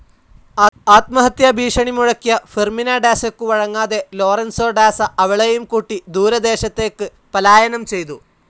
ആത്മഹത്യാഭീഷണി മുഴക്കിയ ഫെർമിന ഡാസയ്ക്കു വഴങ്ങാതെ ലോറൻസോ ഡാസ അവളേയും കൂട്ടി ദൂരദേശത്തേയ്ക്ക് പലായനം ചെയ്തു.